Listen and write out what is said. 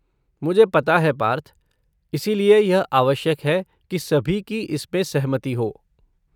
मुझे पता है पार्थ, इसीलिए यह आवश्यक है कि सभी की इसमें सहमति हो।